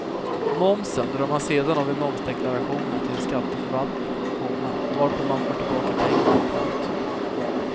Momsen drar man sedan av i momsdeklarationen till skatteförvaltningen, komma varpå man får tillbaka pengarna. punkt